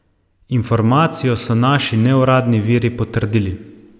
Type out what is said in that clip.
Informacijo so naši neuradni viri potrdili.